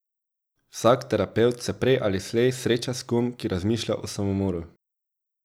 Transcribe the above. Vsak terapevt se prej ali slej sreča s kom, ki razmišlja o samomoru.